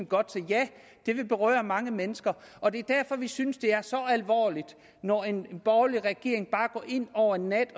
godt så ja det vil berøre mange mennesker og det er derfor vi synes det er så alvorligt når en borgerlig regering over en nat